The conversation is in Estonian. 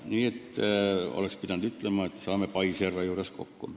Nii et peaks ütlema, et saame paisjärve juures kokku.